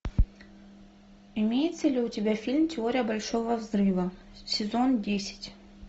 имеется ли у тебя фильм теория большого взрыва сезон десять